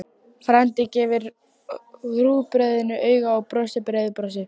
Frændi gefur rúgbrauðinu auga og brosir breiðu brosi.